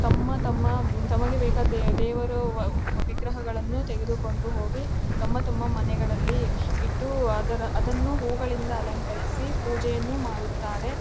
ತಮ್ಮ ತಮ್ಮ ತಮಗೆ ಬೇಕಾದ ದೇವರನ್ನು ಅಹ್ ಅಹ್ ವಿಗ್ರಹಗಳನ್ನು ತೆಗೆದುಕೊಂಡು ಹೋಗಿ ತಮ್ಮ ತಮ್ಮ ಮನೆಗಳಲ್ಲಿ ಇಟ್ಟು ಅದನ್ನು ಹೂವುಗಳಿಂದ ಅಲಂಕರಿಸಿ ಪೂಜೆಯನ್ನು ಮಾಡುತ್ತಾರೆ.